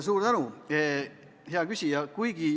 Suur tänu, hea küsija!